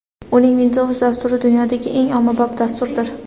Uning Windows dasturi dunyodagi eng ommabop dasturdir.